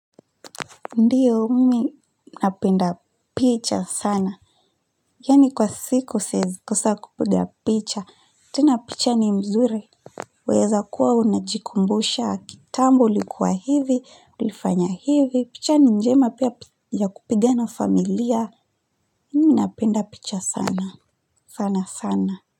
Ndiyo mimi napenda picha sana yaani kwa siku siwezi kosa kupiga picha tena picha ni mzuri waweza kuwa unajikumbusha kitambo ulikuwa hivi ulifanya hivi picha ni njema pia ya kupiga na familia mimi napenda picha sana sana sana.